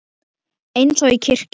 Eins og í kirkju.